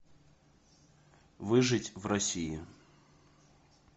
выжить в россии